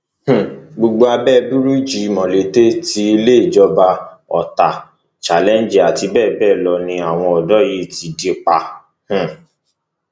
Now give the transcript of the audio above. um gbogbo abẹ búríìjì molete ti ilé ìjọba orita challenge àti bẹẹ bẹẹ lọ ni àwọn ọdọ yìí ti dí pa um